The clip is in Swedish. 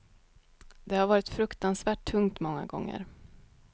Det har varit fruktansvärt tungt många gånger.